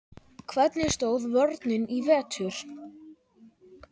Hvernig stóð vörnin í vetur?